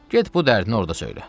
Get bu dərdini orda söylə.